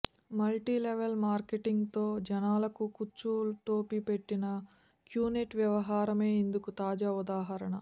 multi level మార్కెటింగ్తో జనాలకు కుచ్చుటోపీ పెట్టిన క్యూనెట్ వ్యవహారమే ఇందుకు తాజా ఉదహరణ